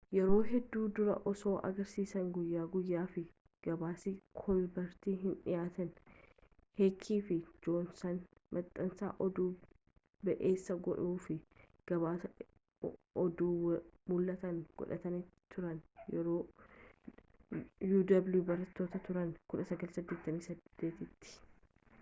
yeroo hedduu dura osoo agarsiisa-guyyaa guyaa fi gabaasni kolbert hin dhiyaatin heeki fi joonsan maxxansa oduu ba’eessa godhuu-fi gabaasa oduu mul’ata godhatanii turani—yeroo uw barataaa turan 1988’tti